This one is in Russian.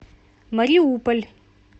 мариуполь